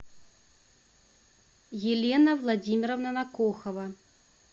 елена владимировна накухова